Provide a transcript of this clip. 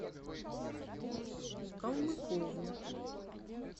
калмыкову